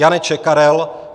Janeček Karel